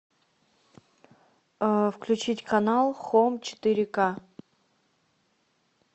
включить канал хом четыре ка